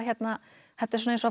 þetta er svona eins og að fara á